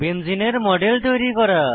বেঞ্জিনের model তৈরী করা